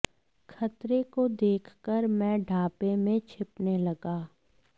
खतरे को देखकर मैं ढाबे में छिपने लगा